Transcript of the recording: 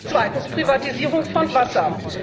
Zweitens Privatisierung von Wasser.